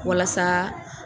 Walasa